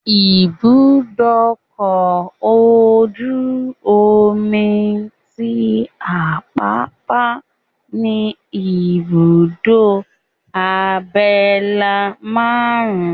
Ibùdókọ̀ ojú-omi tí Àpápá ní ìbùdó abẹ́lé márùn-ún,